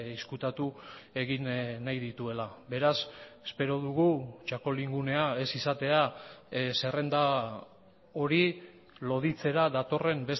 ezkutatu egin nahi dituela beraz espero dugu txakolingunea ez izatea zerrenda hori loditzera datorren